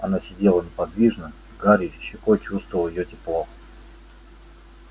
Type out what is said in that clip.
она сидела неподвижно гарри щекой чувствовал её тепло